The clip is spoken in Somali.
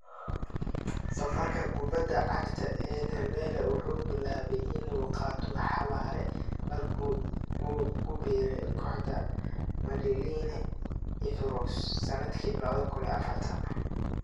Safarka kubadda cagta ee Dembélé wuxuu bilaabay inuu qaado xawaare markii uu ku biiray kooxda Madeleine Evreux sanadkii 2004.